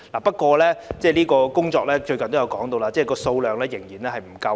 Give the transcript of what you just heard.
不過，就有關工作，最近也有人指數量仍然不足夠。